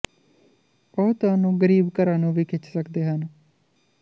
ਉਹ ਤੁਹਾਨੂੰ ਗ਼ਰੀਬ ਘਰਾਂ ਨੂੰ ਵੀ ਖਿੱਚ ਸਕਦੇ ਹਨ